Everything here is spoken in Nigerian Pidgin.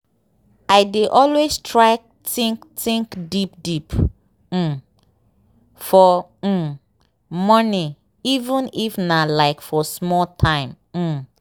i dey always try think think deep deep um for um morning even if nah like for small time um.